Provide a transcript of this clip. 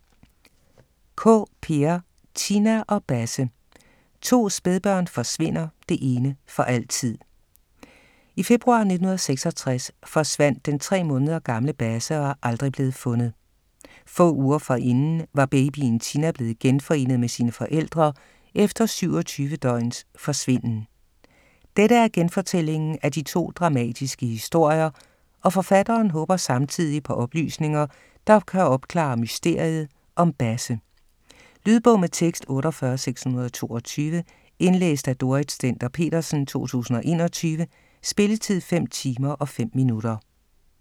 Kaae, Peer: Tina og Basse: to spædbørn forsvinder, det ene for altid I februar 1966 forsvandt den tre måneder gamle Basse og er aldrig blev fundet. Få uger forinden var babyen Tina blevet genforenet med sine forældre efter 27 døgns forsvinden. Dette er genfortællingen af de to dramatiske historier, og forfatteren håber samtidig på oplysninger, der kan opklare mysteriet om Basse. Lydbog med tekst 48622 Indlæst af Dorrit Stender-Petersen, 2021. Spilletid: 5 timer, 5 minutter.